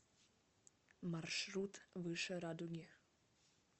маршрут выше радуги